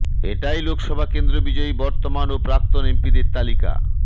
এটাহ লোকসভা কেন্দ্র বিজয়ী বর্তমান ও প্রাক্তন এমপিদের তালিকা